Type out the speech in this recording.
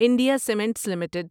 India cements limited